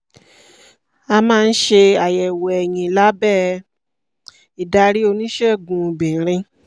a máa ń ṣe àyẹ̀wò ẹyin lábẹ́ ìdarí oníṣègùn obìnrin